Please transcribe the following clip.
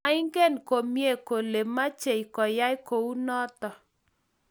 moingen komye kole mechei koyai kou noto